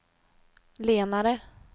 lenare